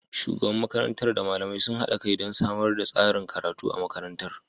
Shugaban makarantar da malamai sun haɗa kai don samar da tsarin karatu a makarantar.